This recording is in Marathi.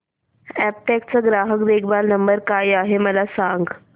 अॅपटेक चा ग्राहक देखभाल नंबर काय आहे मला सांग